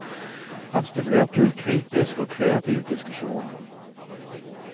Han stimulerte til kritisk og kreativ diskusjon.